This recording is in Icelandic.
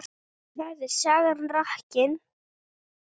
Þar er sagan rakin.